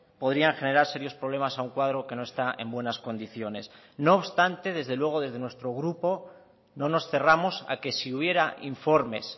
podrían generar serios problemas a un cuadro que no está en buenas condiciones no obstante desde luego desde nuestro grupo no nos cerramos a que si hubiera informes